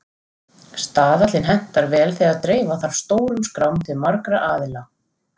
Staðallinn hentar vel þegar dreifa þarf stórum skrám til margra aðila.